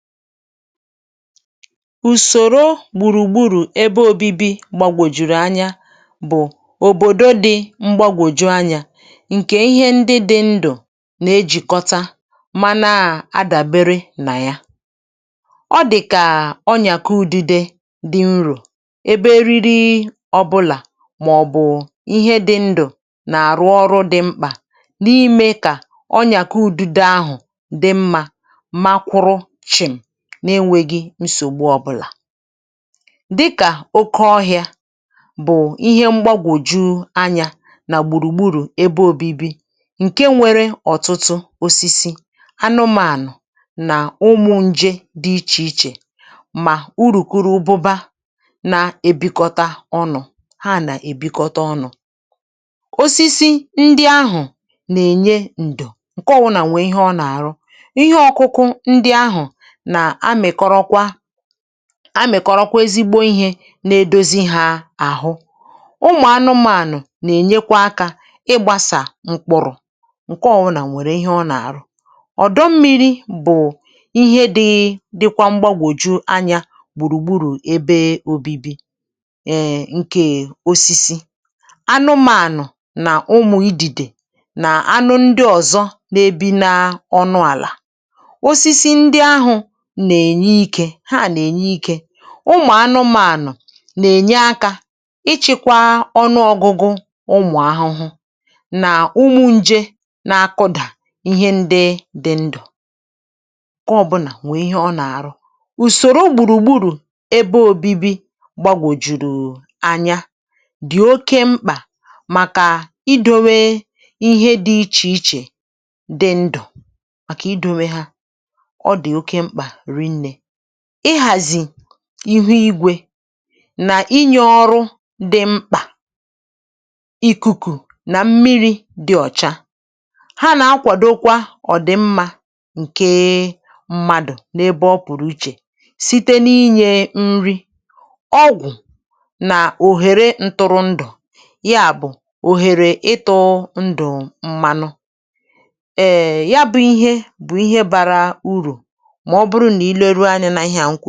ùsòrò gbùrùgburù ebe òbibi gbàgwòjùrù anyȧ bụ̀ òbòdo dị mgbȧgwòju anyȧ ǹkè ihe ndị dị ndụ̀ nà-ejìkọ̀tà mana àdàbere nà ya ọ dị̀kà ọnyàka ụdịdị dị unrò ebe riri ọbụlà màọ̀bụ̀ ihe dị ndụ̀ nà-àrụ ọrụ dị mkpà n’ime kà ọnyàka ụdịdị àhụ dị mmȧ n’enwėghi̇ nsògbu ọbụlà dịkà oke ọhịȧ bụ̀ ihe mgbagwòjù anyȧ nà gbùrùgburù ebe òbibi ǹkè nwere ọ̀tụtụ osisi anụmànụ̀ nà ụmụ̇ nje dị ichè ichè mà urùkụrụ ụbụba nà-èbikọta ọnụ̇ ha nà-èbikọta ọnụ̇ osisi ndị ahụ̀ nà-ènye ǹdụ̀ ǹke ọwụnà nwè ihe ọ nà-àrụ ihe ọkụkụ ndị ahụ̀ a mị̀kọrọkwa ezigbo ihė na-edozi hȧ àhụ ụmụ̀ anụmȧànụ̀ nà-ènyekwa akȧ ịgbȧsà mkpụ̀rụ̀ ǹkè ọwụnà nwèrè ihe ọ nà-àrụ ọ̀dọ mmi̇ri̇ bụ̀ ihe dị̇ dịkwa mgbagwòju anyȧ gbùrùgburù ebe obibi̇ ǹkè osisi anụmȧànụ̀ nà ụmụ̀ idìdè na anụ ndị ọ̀zọ na-ebi na ọnụ àlà ha nà-ènye ikė ụmụ̀ anụmȧnụ̀ nà-ènye aka ịchị̇kwa ọnụ ọ̇gụ̇gụ̇ ụmụ̀ ahụhụ nà ụmụ̀ nje n’akụdà ihe ndị dị ndụ̀ kọọ bụ̀nà wèe ihe ọ nà-àrụ ùsòro gbùrùgburù ebe òbibi gbàgwòjùrù anya dì oke mkpà màkà idȯwe ihe dị ichè ichè dị ndụ̀ màkà i dowe ha ihu igwè nà inyė ọrụ dị mkpà ikuku̇ nà m̀miri̇ dị ọ̀cha ha nà-akwàdokwa ọ̀ dị mmȧ ǹke mmadụ̀ n’ebe ọ pụ̀rụ̀ ichè site n’inyė nri ọgwụ̀ nà òhèrè ntụrụndụ̀ ya bụ̀ òhèrè ịtụ̇ ndụ̀ mmanụ m na-ewepụ̀rọ̀ n’isi ẹ̀tụtụ̀ ihe zòo ihe zìakwàcha